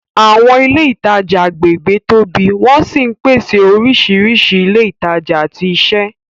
Àwọn ilé ìtajà agbègbè tóbi wọ́n sì ń pèsè oríṣiríṣi ilé ìtajà àti iṣẹ́.